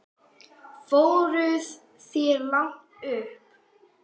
Fóruð þér langt upp?